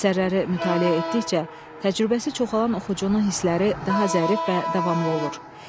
Əsərləri mütaliə etdikcə təcrübəsi çoxalann oxucunun hissləri daha zərif və davamlı olur.